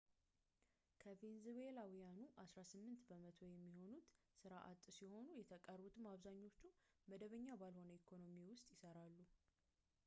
ከቬንዙዌላውያኑ አሥራ ስምንት በመቶ የሚሆኑት ሥራ አጥ ሲሆኑ የተቀጠሩትም አብዛኞቹ መደበኛ ባልሆነ ኢኮኖሚ ውስጥ ይሰራሉ